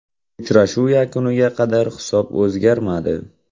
Uchrashuv yakuniga qadar hisob o‘zgarmadi.